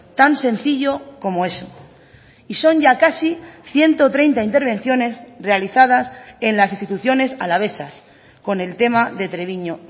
tan sencillo como eso y son ya casi ciento treinta intervenciones realizadas en las instituciones alavesas con el tema de treviño